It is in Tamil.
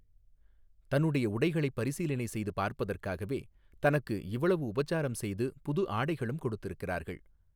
தன்னுடைய உடைகளைப் பரிசீலனை செய்து பார்ப்பதற்காகவே தனக்கு இவ்வளவு உபசாரம் செய்து புது ஆடைகளும் கொடுத்திருக்கிறார்கள்.